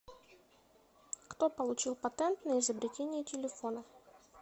кто получил патент на изобретение телефона